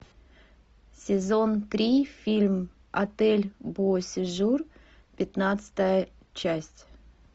сезон три фильм отель бо сежур пятнадцатая часть